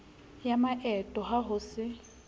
ya maeto ha ho se